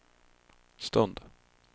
stund